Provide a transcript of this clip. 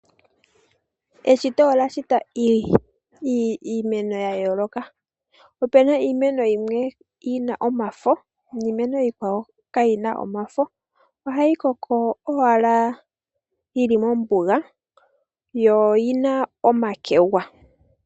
Eshito olya shita iimeno ya yooloka. Opuna iimeno yimwe yina omafo niimeno yimwe kayina omafo ohayi koko owala yili mombuga yo lyina omakegwa.